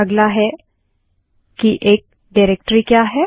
अगला डाइरेक्टरी क्या है160